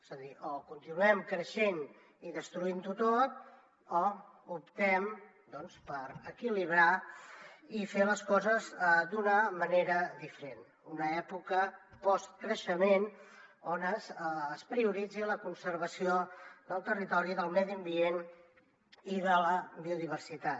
és a dir o continuem creixent i destruint ho tot o optem doncs per equilibrar i fer les coses d’una manera diferent una època postcreixement on es prioritzi la conservació del territori del medi ambient i de la biodiversitat